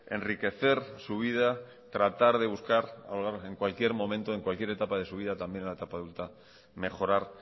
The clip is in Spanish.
enriquecer su vida tratar de buscar en cualquier momento en cualquier etapa de su vida también la etapa adulta mejorar